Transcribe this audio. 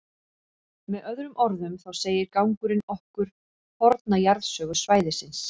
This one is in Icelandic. Með öðrum orðum, þá segir gangurinn okkur forna jarðsögu svæðisins.